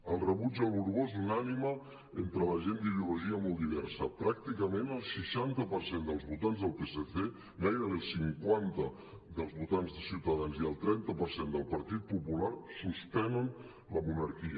el rebuig al borbó és unànime entre la gent d’ideologia molt diversa pràcticament el seixanta per cent dels votants del psc gairebé el cinquanta dels votants de ciutadans i el trenta per cent del partit popular suspenen la monarquia